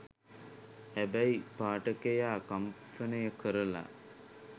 හැබැයි පාඨකයා කම්පනය කරලා